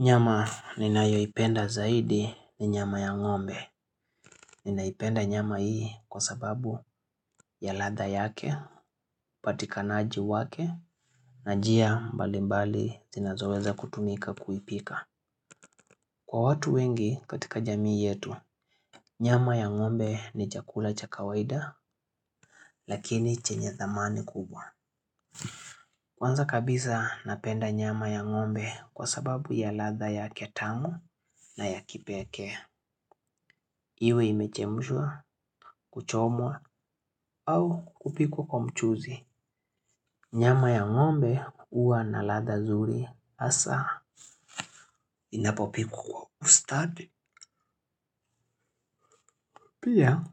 Nyama ninayoipenda zaidi ni nyama ya ng'ombe. Ninaipenda nyama hii kwa sababu ya ladha yake, upatikanaji wake, na njia mbalimbali zinazoweza kutumika kuipika. Kwa watu wengi katika jamii yetu, nyama ya ng'ombe ni chakula cha kawaida, lakini chenye thamani kubwa. Kwanza kabisa napenda nyama ya ng'ombe kwa sababu ya ladha yake tamu na ya kipekee. Iwe imechemshwa kuchomwa au kupikwa kwa mchuzi. Nyama ya ng'ombe huwa na ladha nzuri hasa inapopikwa kwa ustadi. Pia